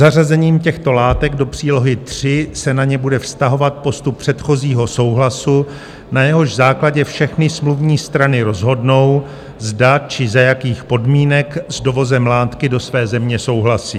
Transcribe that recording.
Zařazením těchto látek do přílohy III se na ně bude vztahovat postup předchozího souhlasu, na jehož základě všechny smluvní strany rozhodnou, zda či za jakých podmínek s dovozem látky do své země souhlasí.